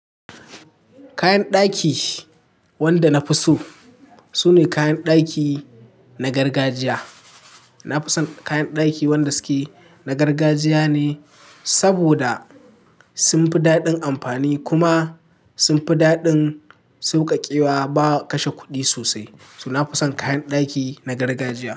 Kayan ɗaki wanda na fi so sune kayan ɗaki na gargajiya. Na fi son kayan ɗaki wanda suke na gargajiya ne saboda sun fi daɗin amfani kuma sun fi daɗin sauƙaƙewa ba kashe kuɗi sosai. So na fi son kayan ɗaki na gargajiya.